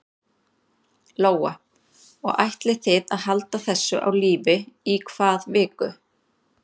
Lóa: Og ætlið þið að halda þessu á lífi í hvað viku?